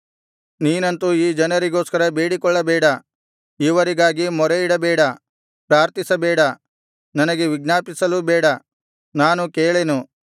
ನೀನಂತು ಈ ಜನರಿಗೋಸ್ಕರ ಬೇಡಿಕೊಳ್ಳಬೇಡ ಇವರಿಗಾಗಿ ಮೊರೆಯಿಡಬೇಡ ಪ್ರಾರ್ಥಿಸಬೇಡ ನನಗೆ ವಿಜ್ಞಾಪಿಸಲೂ ಬೇಡ ನಾನು ಕೇಳೆನು